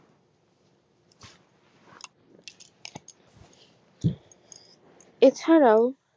এ ছাড়াও